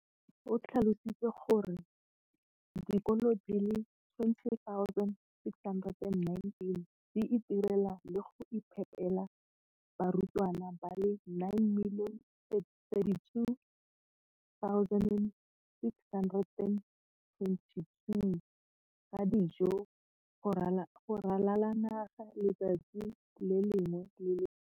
O tlhalositse gore dikolo di le 20 619 di itirela le go iphepela barutwana ba le 9 032 622 ka dijo go ralala naga letsatsi le lengwe le le lengwe.